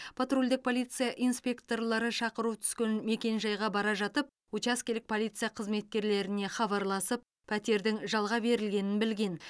патрульдік полиция инспекторлары шақыру түскен мекенжайға бара жатып учаскелік полиция қызметкерлеріне хабарласып пәтердің жалға берілгенін білген